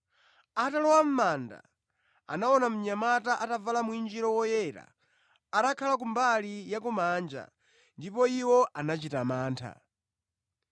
Atalowa mʼmanda, anaona mnyamata atavala mwinjiro woyera atakhala ku mbali ya kumanja, ndipo iwo anachita mantha.